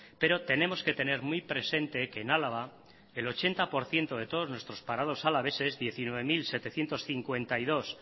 pero tenemos que tener muy presente que en álava el ochenta por ciento de todos nuestros parados alaveses diecinueve mil setecientos cincuenta y dos